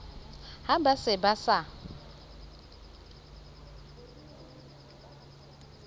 ha ba se ba sa